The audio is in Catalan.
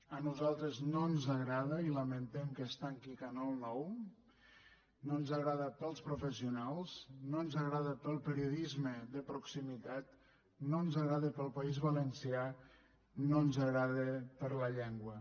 a nosaltres no ens agrada i lamentem que es tanqui canal nou no ens agrada pels professionals no ens agrada pel periodisme de proximitat no ens agrada pel país valencià no ens agrada per la llengua